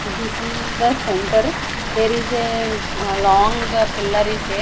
this is the center there is a long pillar is there.